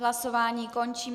Hlasování končím.